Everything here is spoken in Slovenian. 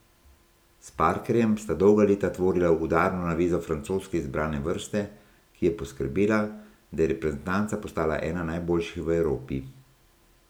S Parkerjem sta dolga leta tvorila udarno navezo francoske izbrane vrste, ki je poskrbela, da je reprezentanca postala ena najboljših v Evropi.